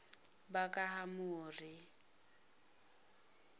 bakahamori